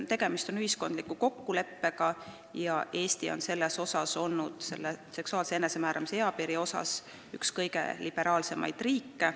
Tegemist on ühiskondliku kokkuleppega ja Eesti on olnud seksuaalse enesemääramise eapiiri osas üks kõige liberaalsemaid riike.